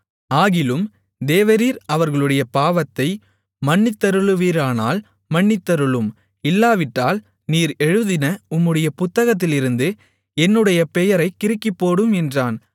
ஆகிலும் தேவரீர் அவர்களுடைய பாவத்தை மன்னித்தருளுவீரானால் மன்னித்தருளும் இல்லாவிட்டால் நீர் எழுதின உம்முடைய புத்தகத்திலிருந்து என்னுடைய பெயரைக் கிறுக்கிப்போடும் என்றான்